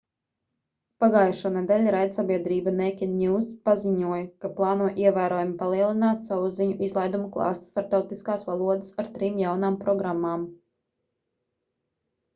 pagājušonedēļ raidsabiedrība naked news paziņoja ka plāno ievērojami palielināt savu ziņu izlaidumu klāstu starptautiskās valodās ar trim jaunām programmām